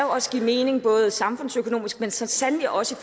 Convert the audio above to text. også give mening samfundsøkonomisk men så sandelig også